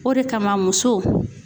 O de kama muso